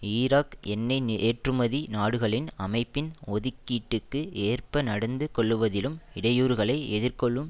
Iraq எண்ணெய் ஏற்றுமதி நாடுகளின் அமைப்பின் ஒதுக்கீட்டுக்கு ஏற்ப நடந்து கொள்ளுவதிலும் இடையூறுகளை எதிர்கொள்ளும்